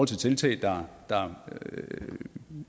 til tiltag der